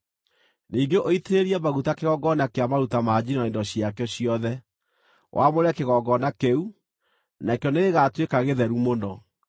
Ningĩ ũitĩrĩrie maguta kĩgongona kĩa maruta ma njino na indo ciakĩo ciothe; wamũre kĩgongona kĩu, nakĩo nĩgĩgatuĩka gĩtheru mũno.